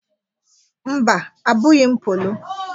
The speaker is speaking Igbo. Mba; Abụghị m polo.